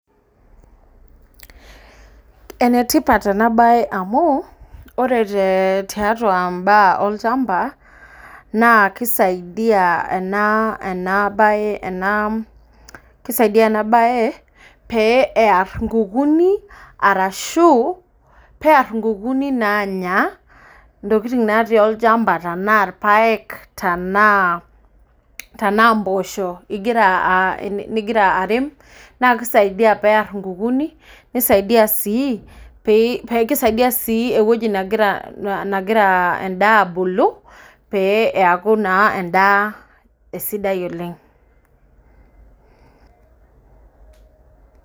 Enetipat enabaye amu, ore tiatua mbaa olchamba, naa kisaidia ena baye pee eyar nkukuni, pear nkukuni naanya ntokitin naatii olchamba tenaa irpaek tenaa mpoosho igira airem naa kisaidia peer nkukuni, kisaidia sii ewueji negira endaa abulu pee eeku naa endaa sidai oleng.